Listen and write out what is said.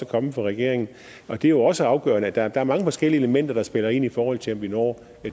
kommet fra regeringen det er jo også afgørende der er mange forskellige elementer der spiller ind i forhold til om vi når